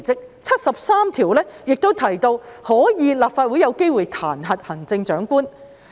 第七十三條亦提到，立法會可以彈劾行政長官。